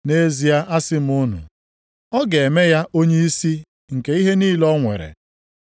Nʼezie asị m unu, ọ ga-eme ya onyeisi nke ihe niile o nwere.